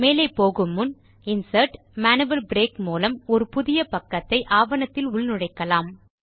மேலே போகுமுன் இன்சர்ட் ஜிடிஜிடி மேனுவல் பிரேக் மூலம் ஒரு புதிய பக்கத்தை ஆவணத்தில் உள்நுழைக்கலாம்